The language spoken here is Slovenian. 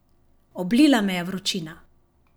Oblila me je vročina.